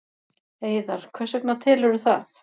Heiðar: Hvers vegna telurðu það?